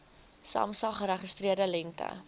samsa geregistreerde lengte